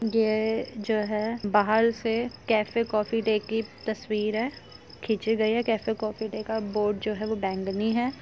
ये जो है बाहर से कैफ़े कॉफ़ी डे की तस्वीर है खींची गयी हैं। कैफ़े कॉफ़ी डे का जो बोर्ड है वो बैंगनी है।